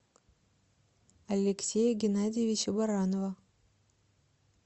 алексея геннадьевича баранова